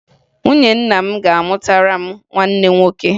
Nwunye nna m ga-amụtara m nwanne nwoke